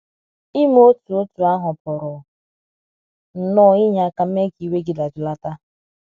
ịme otú otú ahụ pụrụ nnọọ inye aka mee ka iwe gị dajụlata.